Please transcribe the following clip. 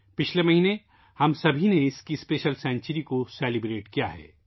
پچھلے مہینے ہم سب نے اس کی خصوصی صدی منائی تھی